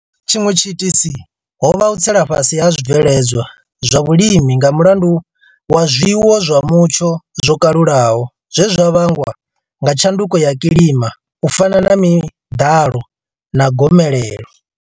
Tshiṅwe tshiitisi ho vha u tsela fhasi ha zwibveledzwa zwa vhulimi nga mulandu wa zwiwo zwa mutsho zwo kalulaho zwe zwa vhangwa nga tshanduko ya kilima u fana na miḓalo na gomelelo.